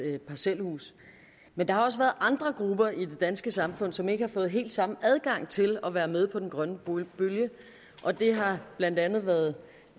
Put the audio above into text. parcelhuse men der har også været andre grupper i det danske samfund som ikke har fået helt samme adgang til at være med på den grønne bølge og det har blandt andet været